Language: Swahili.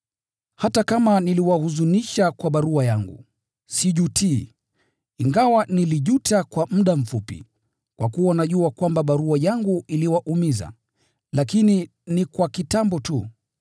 Hata kama niliwahuzunisha kwa barua yangu, sijutii. Ingawa nilijuta kwa muda mfupi, kwa kuwa najua kwamba barua yangu iliwaumiza, lakini ni kwa kitambo tu,